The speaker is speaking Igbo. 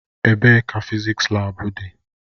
Ebee ka fịzịksi laabu dị.